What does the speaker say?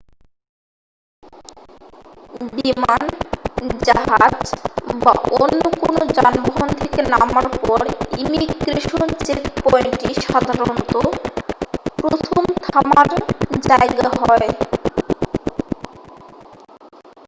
বিমান জাহাজ বা অন্য কোনও যানবাহন থেকে নামার পর ইমিগ্রেশন চেকপয়েন্টটি সাধারণত প্রথম থামার জায়গা হয়